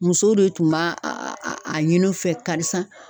Muso de tun b'a a ɲini u fɛ karisa